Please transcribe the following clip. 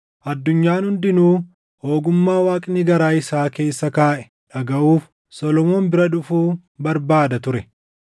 Addunyaan hundinuu ogummaa Waaqni garaa isaa keessa kaaʼe dhagaʼuuf Solomoon bira dhufuu barbaada ture.